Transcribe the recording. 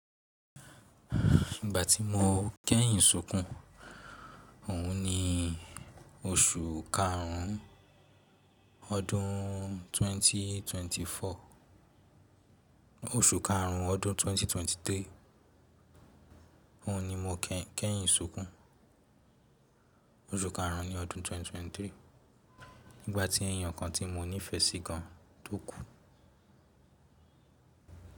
Ìgbà tí mo kẹ́yìn sunkùn, òhun ni oṣù karùn-ún ọdún 2024, oṣù karùn-ún ọdún 2023. Òhun ni mo kẹ́yìn sunkùn, oṣù karùn-ún ní ọdún 2023. Nígbà tí ènìyàn kan tí mo nífẹsí gan tó kú.